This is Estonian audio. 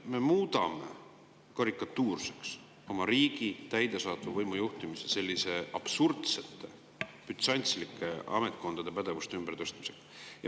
Me muudame karikatuurseks oma riigi täidesaatva võimu juhtimise, kui me teeme sellisel absurdsel, bütsantslikul viisil ametkondade pädevuste ümbertõstmisi.